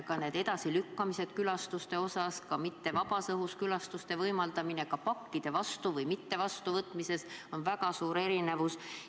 Külastuste edasilükkamine, mujal kui vabas õhus külastuste võimaldamine, pakkide vastuvõtmine ja mittevastuvõtmine – neis asjus esineb väga suuri erinevusi.